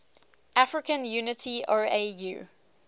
african unity oau